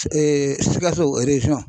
Sikaso